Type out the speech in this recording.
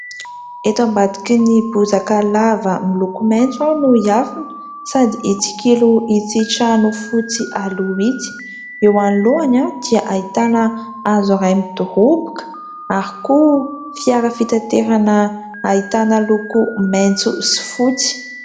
Eto ambadiky ny bozaka lava miloko maitso aho no hiafina sady hitsikilo itsy trano fotsy aloha itsy. Eo anoloany dia ahitana hazo iray midoroboka ary koa fiara fitaterana ahitana loko maitso sy fotsy.